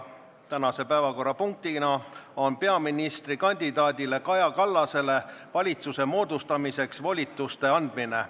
Täna on päevakorras peaministrikandidaat Kaja Kallasele valitsuse moodustamiseks volituste andmine.